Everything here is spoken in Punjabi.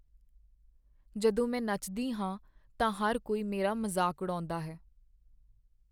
ਜਦੋਂ ਮੈਂ ਨੱਚਦੀ ਹਾਂ ਤਾਂ ਹਰ ਕੋਈ ਮੇਰਾ ਮਜ਼ਾਕ ਉਡਾਉਦਾ ਹੈ।